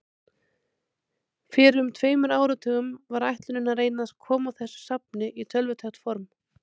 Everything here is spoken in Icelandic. Fyrir um tveimur áratugum var ætlunin að reyna að koma þessu safni í tölvutækt form.